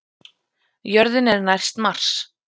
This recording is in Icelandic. Jörðin er næst Mars!